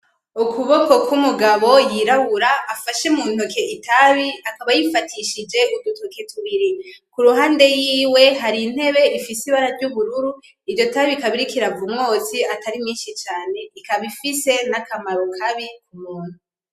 Ukuboko k,umugabo y'irabura afashe mu ntoke itabi akaba ayifatishije udutoke tubiri ku ruhande yiwe hari intebe ifise ibara ry'ubururu iryo tabi rikaba ririko riva umwotsi atari mwinshi ikaba ifise n'akamaro kabi k'umuntu .